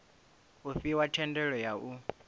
u fhiwa thendelo ya u